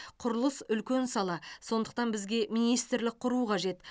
құрылыс үлкен сала сондықтан бізге министрлік құру қажет